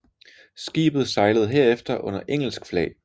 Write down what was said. Skibet sejlede herefter under engelsk flag